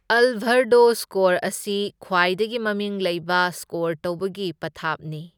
Alvarado score ꯑꯁꯤ ꯈ꯭ꯋꯥꯏꯗꯒꯤ ꯃꯃꯤꯡ ꯂꯩꯕ ꯁ꯭ꯀꯣꯔ ꯇꯧꯕꯒꯤ ꯄꯊꯥꯞꯅꯤ꯫